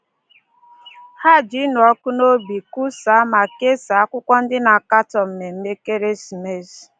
Ha ji ịnụ ọkụ n’obi kwusaa ma kesaa akwụkwọ ndị na-akatọ mmemme ekeresimesi.